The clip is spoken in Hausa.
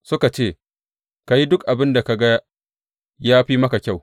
Suka ce, Ka yi duk abin da ka ga ya fi maka kyau.